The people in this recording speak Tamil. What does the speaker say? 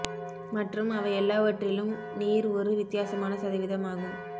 மற்றும் அவை எல்லாவற்றிலும் நீர் ஒரு வித்தியாசமான சதவீதம் ஆகும்